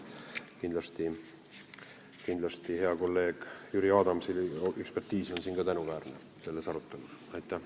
Kindlasti on ka hea kolleegi Jüri Adamsi ekspertiis selles arutelus tänuväärne.